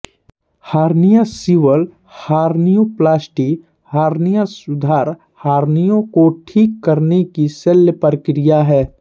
hernia सीवन hernioplasty hernia सुधार hernia को ठीक करने की शल्य प्रक्रिया है